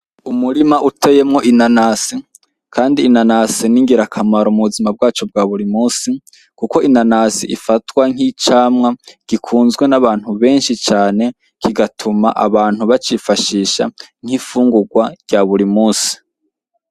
Umurima uteyemwo inanasi kandi inanasi ni ngirakamaro mu buzima bwacu bwa buri munsi kuko inanasi ifatwa nk'icamwa gikunzwe n'abantu benshi cane kigatuma abantu bacifashisha nk'imfungurwa rya buri munsi.